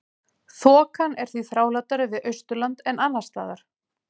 Þokan er því þrálátari við Austurland en annars staðar.